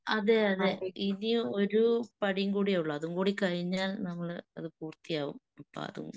അതെയതെ ഇനി ഒരു പടിയും കൂടെയേ ഉള്ളു. അതുംകൂടി കഴിഞ്ഞാൽ നമ്മള് അത് പൂർത്തിയാവും. അപ്പൊ അതും